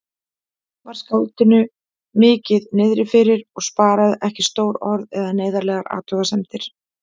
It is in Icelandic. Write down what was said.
Var skáldinu mikið niðrifyrir og sparaði ekki stór orð eða neyðarlegar athugasemdir.